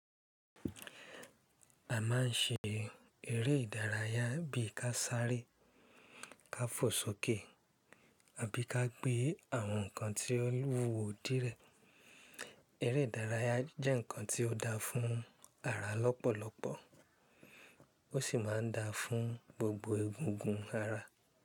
A máa ń ṣe eré ìdárayá bí i ká sáré, ká fò sókè àbí ká gbé àwọn nǹkan tí ó luwó díẹ̀. Eré ìdárayá jẹ́ nǹkan tí ó da fún ara lọ́pọ̀lọpọ̀ ó sì máa ń da fún gbogbo egungun ara.